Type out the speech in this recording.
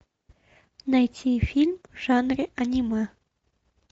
найти фильм в жанре аниме